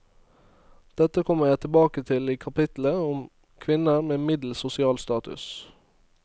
Dette kommer jeg tilbake til i kapittelet om kvinner med middels sosial status.